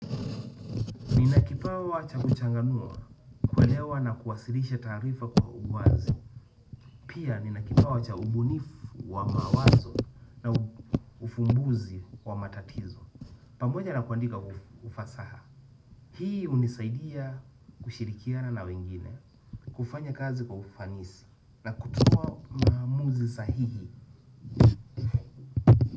Nina kipawa cha kuchanganua, kuelewa na kuwasilisha taarifa kwa uwazi. Pia ninakipawa wacha ubunifu wa mawazo na ufumbuzi wa matatizo. Pamoja na kuandika ufasaha hii hunisaidia kushirikiana na wengine, kufanya kazi kwa ufanisi. Na kutuwa maamuzi sahihi.